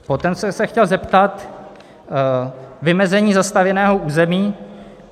Potom jsem se chtěl zeptat - vymezení zastavěného území.